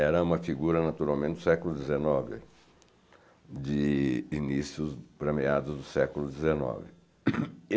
Era uma figura naturalmente do século dezenove, de inícios para meados do século dezenove.